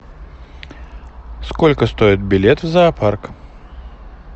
сколько стоит билет в зоопарк